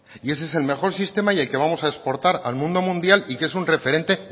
y ese es el mejor sistema y el que vamos a exportar al mundo mundial y que es un referente